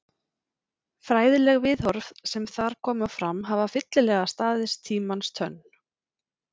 Fræðileg viðhorf sem þar koma fram hafa fyllilega staðist tímans tönn.